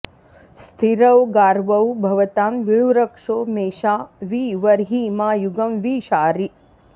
स्थि॒रौ गावौ॑ भवतां वी॒ळुरक्षो॒ मेषा वि व॑र्हि॒ मा यु॒गं वि शा॑रि